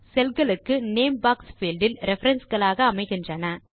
செல் களுக்கு name box field இல் reference களாக அமைகின்றன